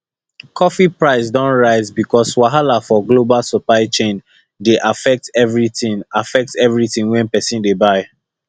coffee price don rise because wahala for global supply chain dey affect everything affect everything wey people dey buy